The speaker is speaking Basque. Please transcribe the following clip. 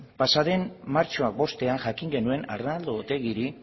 pasaden martxoaren bostean jakin genuen arnaldo otegiri